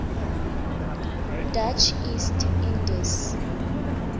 dutch east indies